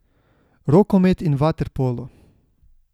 Rokomet in vaterpolo.